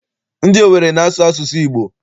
Ndị Owere na-asụ asụsụ Igbo.